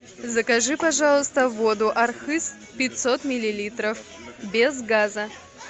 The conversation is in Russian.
закажи пожалуйста воду архыз пятьсот миллилитров без газа